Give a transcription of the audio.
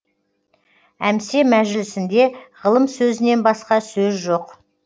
әмсе мәжілісінде ғылым сөзінен басқа сөз жоқ